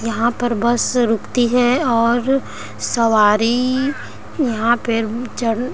यहाँ पर बस रूकती है और सवारी यहाँ पे चढ़--